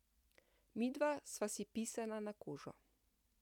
Midva sva si pisana na kožo.